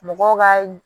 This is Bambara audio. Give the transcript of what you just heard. Mɔgɔw ka